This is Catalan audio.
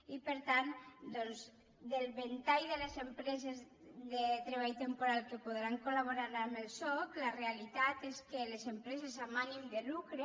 i per tant doncs del ventall de les empreses de treball temporal que podran col·laborar amb el soc la realitat és que les empreses amb ànim de lucre